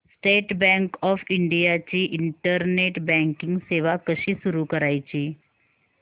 state bank of India ची internet banking सेवा कशी सुरू करायची